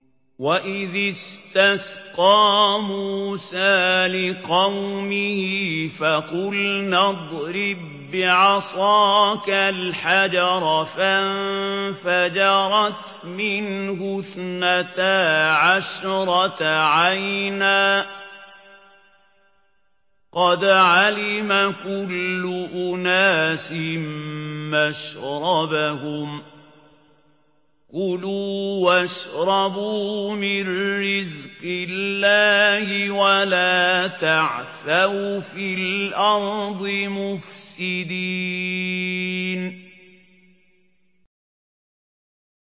۞ وَإِذِ اسْتَسْقَىٰ مُوسَىٰ لِقَوْمِهِ فَقُلْنَا اضْرِب بِّعَصَاكَ الْحَجَرَ ۖ فَانفَجَرَتْ مِنْهُ اثْنَتَا عَشْرَةَ عَيْنًا ۖ قَدْ عَلِمَ كُلُّ أُنَاسٍ مَّشْرَبَهُمْ ۖ كُلُوا وَاشْرَبُوا مِن رِّزْقِ اللَّهِ وَلَا تَعْثَوْا فِي الْأَرْضِ مُفْسِدِينَ